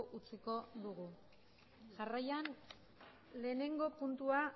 utziko dugu jarrian lehenengo puntua